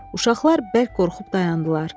Uşaqlar bərk qorxub dayandılar.